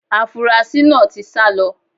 Afunrasí náà ti sá lọ.